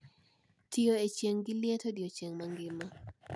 Tiyo e chieng` gi liet odiechieng mangima